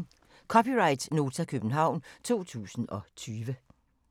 (c) Nota, København 2020